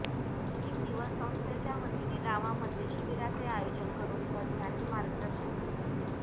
तीन दिवस संस्थेच्यावतीने गावामध्ये शिबिराचे आयोजन करुन तज्ञांनी मार्गदर्शन केले